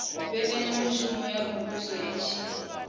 mbekanyamaitele ya muvhuso i tshi